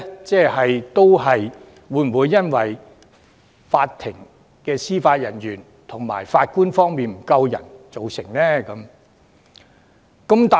這是否因為法庭司法人員和法官人手不足而造成呢？